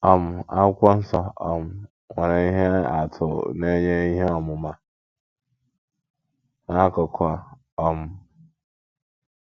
um Akwụkwọ nsọ um nwere ihe atụ na - enye ihe ọmụma n’akụkụ a um.